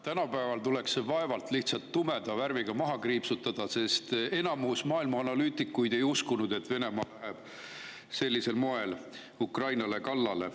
Tänapäeval tuleks see "vaevalt" tumeda värviga maha kriipsutada, sest enamik maailma analüütikuid ei uskunud, et Venemaa läheb sellisel moel Ukrainale kallale.